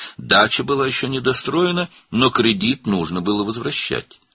Bağ evi hələ tikilib qurtarmamışdı, lakin krediti qaytarmaq lazım idi.